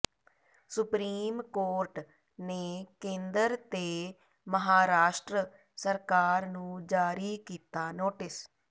supreme court ਨੇ ਕੇਂਦਰ ਤੇ ਮਹਾਰਾਸ਼ਟਰ ਸਰਕਾਰ ਨੂੰ ਜਾਰੀ ਕੀਤਾ ਨੋਟਿਸ